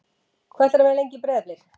Hvað ætlarðu að vera lengi í Breiðablik?